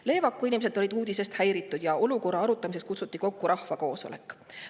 Leevaku inimesed olid uudisest häiritud ja olukorra arutamiseks kutsuti kokku rahvakoosolek.